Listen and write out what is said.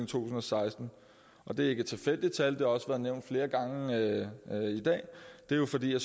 tusind og seksten det er ikke et tilfældigt tal og også været nævnt flere gange i dag det er jo fordi at